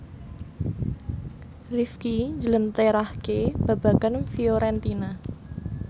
Rifqi njlentrehake babagan Fiorentina